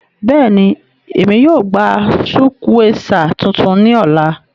Bẹ́ẹ̀ni, Émi yóò gba sukwéesá tuntun ni ọla.